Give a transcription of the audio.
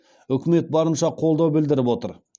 үкімет барынша қолдау білдіріп отыр